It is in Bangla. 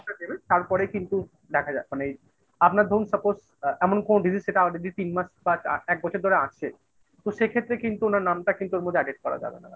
দেবেন তারপরে কিন্তু দেখা যাক মানে আপনার ধরুন suppose এমন কোন Disease সেটা already তিন মাস বা এক বছর ধরে আছে, তো সেক্ষেত্রে কিন্তু ওনার নামটা কিন্তু ওর মধ্যে added করা যাবে না।